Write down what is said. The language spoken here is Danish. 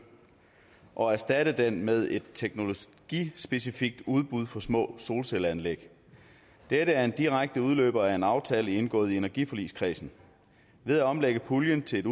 og erstatte den med et teknologispecifikt udbud for små solcelleanlæg dette er en direkte udløber af en aftale indgået af energiforligskredsen ved at omlægge puljen til et